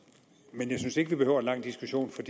men jeg synes ikke vi behøver en lang diskussion for